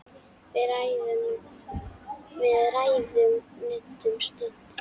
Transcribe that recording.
Við ræðum nudd um stund.